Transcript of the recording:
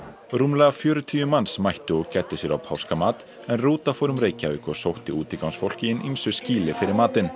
rúmlega fjörutíu manns mættu og gæddu sér á páskamat en rúta fór um Reykjavík og sótti útigangsfólk í hin ýmsu skýli fyrir matinn